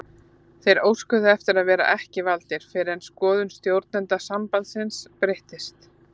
Þeir óskuðu eftir að vera ekki valdir fyrr en skoðun stjórnenda sambandsins breyttist.